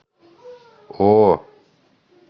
о